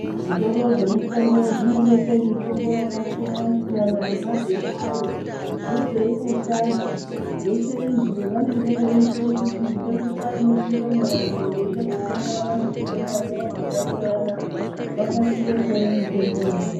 Zvitoro zvemutombo zvinobeka mutombo yakasiyana siyana nemazina ayo nezvainoshanda zveshe izvi vanenge veiitira kuti ngenguwa inopindamo vandu veide kutenga vane zvitenda zvavo zvakasiyana vakasire kuona mutombo yavanoda